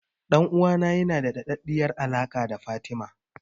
Ɗan'uwana yana da daɗaɗɗiyar alaƙa da Fatima.